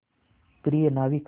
प्रिय नाविक